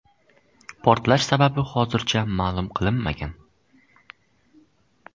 Portlash sababi hozircha ma’lum qilinmagan.